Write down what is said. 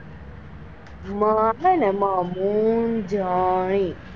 મ છે ને મ મૂંજની,